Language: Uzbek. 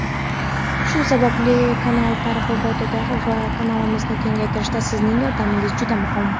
Shu sababli kanal targ‘ibotida va kanalimizni kengaytirishda sizning yordamingiz juda muhim.